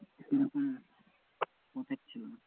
পোষাচ্ছিলো না।